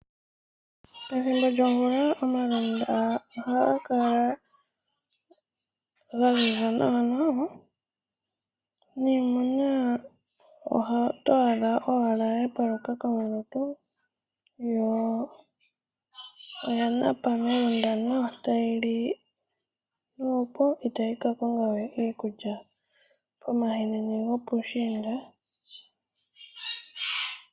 Pethimbo lyomvula omalundu ohaga kala gaziza nawa niimuna oto adha owala yapaluka komalutu yo oyana napa melundu nawa. Yo oya napa melundu nawa itayi ka kongawe omwiidhi pomahenene gopuushiinda.